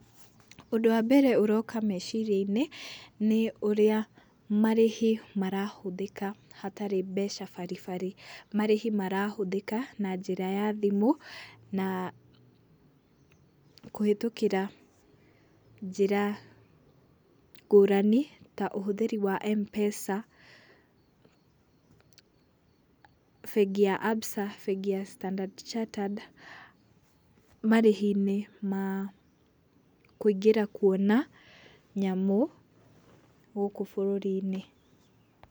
Ũndũ wambere ũroka meciria-inĩ nĩ ũrĩa marĩhi marahũthĩka hatarĩ mbeca baribari. Marĩhi marahũthĩka na njĩra ya thimũ na kũhĩtũkĩra njĩra ngũrani ta ũhũthĩri wa M-Pesa bengi ya Absa, bengi ya Standard Chartered marĩhi-inĩ makwĩngĩra kuona nyamũ gũkũ bũrũri-inĩ.